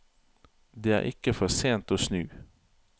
Det er ikke for sent å snu.